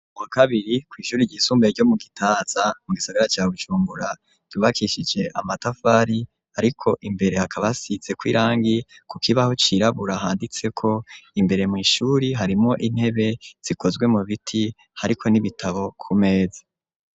Mu kabiri kw' ishuri ry'isumbaye ryo mu gitaza, mu gisagara ca bujumbura ,yubakishije amatafari ,ariko imbere hakaba hasize kw' irangi ,ku kibaho cirabura handitse ko imbere mw ishuri harimwo intebe zikozwe mu biti ,hariko n'ibitabo ku meza.